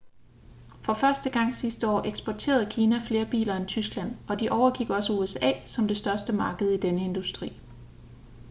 for første gang sidste år eksporterede kina flere biler end tyskland og de overgik også usa som det største marked i denne industri